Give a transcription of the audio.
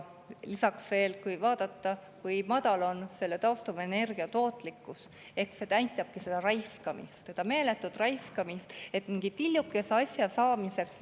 Lisaks, kui vaadata, kui madal on taastuvenergia tootlikkus, siis see näitabki raiskamist, meeletut raiskamist mingi tillukese asja saamiseks.